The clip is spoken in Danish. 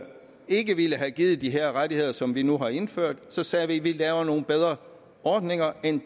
ikke ville have givet de her rettigheder som vi nu har indført så sagde vi vi laver nogle bedre ordninger end